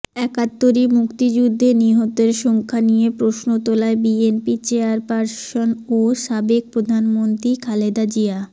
একাত্তরে মুক্তিযুদ্ধে নিহতের সংখ্যা নিয়ে প্রশ্ন তোলায় বিএনপি চেয়ারপারসন ও সাবেক প্রধানমন্ত্রী খালেদা জিয়া